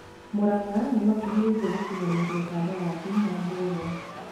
Muranga nĩmakũhĩrĩrie gũkinyanĩria kandarathi na Mbugua